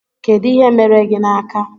Kedụ ihe mere gị n'aka?